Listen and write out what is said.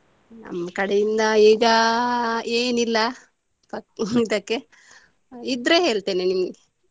ನಮ್ಮ ಕಡೆಯಿಂದ ಈಗ ಏನು ಇಲ್ಲ ಈಗ ಸದ್ಯಕ್ಕೆ ಇದ್ರೆ ಹೇಳ್ತೇನೆ ನಿಮ್ಗೆ.